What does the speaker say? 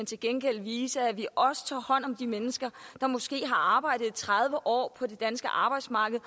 til gengæld viser at vi også tager hånd om de mennesker der måske har arbejdet tredive år på det danske arbejdsmarked